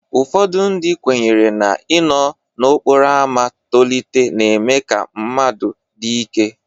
Ụfọdụ ndị kwenyere na-inọọ n'okporo ámá tolite na-eme ka mmadụ dị ike.